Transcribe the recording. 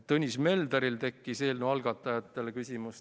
Tõnis Mölderil tekkis eelnõu algatajatele küsimus.